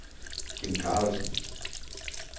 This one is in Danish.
Kim Carlsen